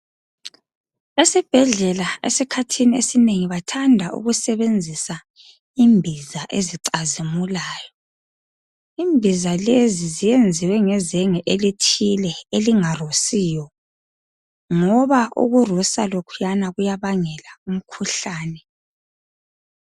Esibhedlela esikhathini esinengi bathanda ukusebenzisa imbiza ezicazimulayo ..Imbiza lezi ziyenziwe ngezenge elithile elingarusiyo .Ngoba ukurusa lokhuyana kuyabangela umkhuhlane .